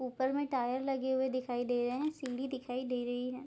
ऊपर में टायर लगे हुए दिखाई दे रहे हैं सीढ़ी दिखाई दे रही है।